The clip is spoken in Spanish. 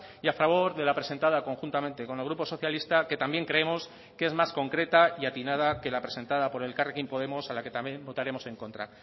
y a favor de la presentada conjuntamente con el grupo socialista que también creemos que es más concreta y atinada que la presentada por elkarrekin podemos a la que también votaremos en contra